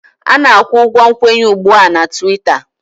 A na-akwụ ụgwọ nkwenye ugbu a na Twiita